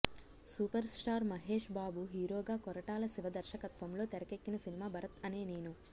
super star Mahesh Babu హీరోగా కొరటాల శివ దర్శకత్వంలో తెరకెక్కిన సినిమా భరత్ అనే నేను